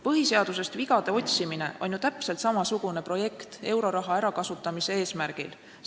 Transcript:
Põhiseadusest vigade otsimine on ju täpselt samasugune projekt euroraha ärakasutamise eesmärgil.